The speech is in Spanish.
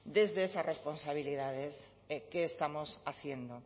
desde esas responsabilidades que estamos haciendo